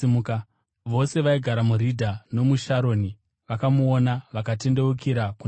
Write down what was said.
Vose vaigara muRidha nomuSharoni vakamuona vakatendeukira kuna She.